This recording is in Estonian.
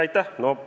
Aitäh!